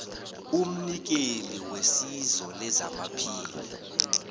umnikeli wesizo lezamaphilo